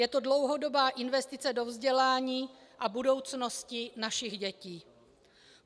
Je to dlouhodobá investice do vzdělání a budoucnosti našich dětí.